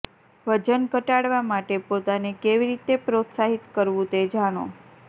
વજન ઘટાડવા માટે પોતાને કેવી રીતે પ્રોત્સાહિત કરવું તે જાણો